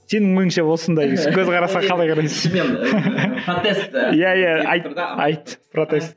сенің ойыңша осындай көзқарасқа қалай қарайсың иә иә айт айт протест